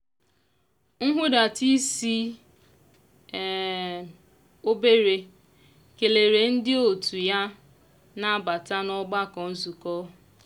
nhudata isi um obere kelere ndị otu ya na-abata n'ọgbakọ nzukọ.